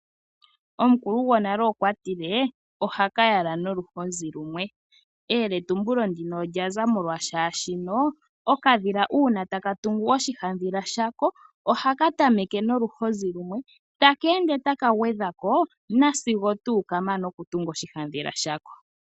Omukulu gwonale okwa tile " Ohaka yala noluhozi lumwe", eyetumbulo ndino olya za molwashashino okadhila uuna taka tungu oshihadhila shako, ohaka tameneke noluhozi lumwe, taka ende taka gwedha ko na sigo tuu ka mana okutunga oshihadhila shako .